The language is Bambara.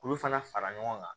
K'olu fana fara ɲɔgɔn kan